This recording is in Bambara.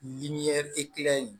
Ni ye in